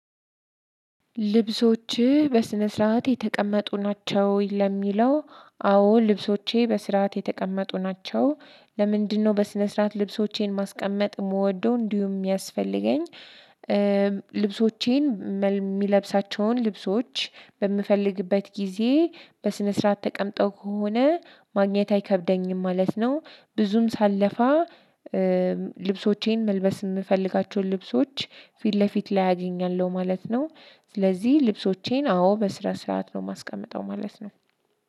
ልብሶችህ በስነ ስርዓት የተቀመጡ ናቸው? ለሚለው አዎ ልብሶቼ በስርዓት የተቀመጡ ናቸው። ለምንድነው በስነ ስርዓት ልብሶቼን ማስቀመጥ የምወደው እንዲሁም የሚያስፈልገኝ። ልብሶቼን የሚለብሳቸውን ልብሶች በምፈልግበት ጊዜ በስነ ስርዓት ተቀምጠው ከሆነ ማግኘት አይከብደኝም ማለት ነው። ብዙም ሳለፋ። ልብሶቼን መልበስ የምፈልጋቸውን ልብሶች ፊት ለፊት ላይ አገኛለሁ ማለት ነው። ስለዚህ ልብሶቼን አዎ በስራ ሰርዓት ነው የማስቀምጠው ማለት ነው።